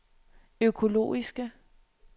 økologiske